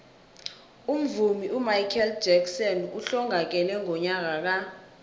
umvumi umichael jackson uhlongakele ngonyaka ka